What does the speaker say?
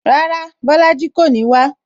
Rárá, Bolaji kò ní wá